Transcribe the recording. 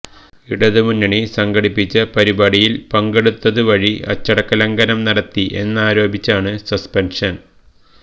ഇടതുമുന്നണി സംഘടിപ്പിച്ച പരിപാടിയിൽ പങ്കെടുത്തത് വഴി അച്ചടക്ക ലംഘനം നടത്തി എന്നാരോപിച്ചാണ് സസ്പെന്ഷന്